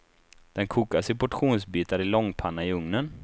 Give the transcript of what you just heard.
Den kokas i portionsbitar i långpanna i ugnen.